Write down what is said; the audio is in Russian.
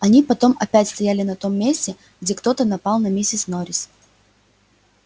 они потом опять стояли на том месте где кто-то напал на миссис норрис